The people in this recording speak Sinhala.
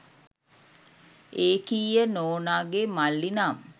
ඒකීය නෝනාගේ මල්ලි නම්